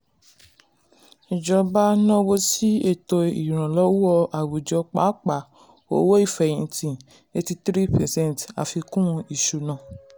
ìjọba náwó sí ètò ìrànlọ́wọ́ àwùjọ pàápàá owó ìfẹ̀yìntì eighty three percent àfikún ìṣùnà.